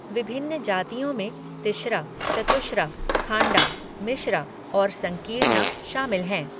विभिन्न जातियों में तिश्रा, चतुश्रा, खांडा, मिश्रा और संकीर्णा शामिल हैं।